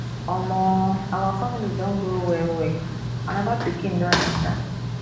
omo our family don grow wellwell anoda pikin don enta